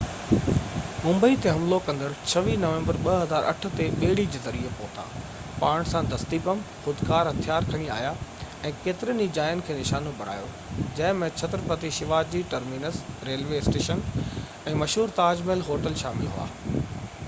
ممبئي تي حملو ڪندڙ 26 نومبر 2008 تي ٻيڙي جي ذريعي پهتا پاڻ سان دستي بم خودڪار هٿيار کڻي آيا ۽ ڪيترين ئي جاين کي نشانو بڻايو جنهن ۾ Chhatrapati Shivaji terminus railway station ۽ مشهور تاج محل هوٽل شامل هئا